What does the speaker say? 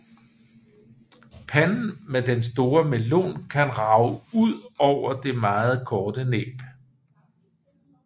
Panden med den store melon kan rage ud over det meget korte næb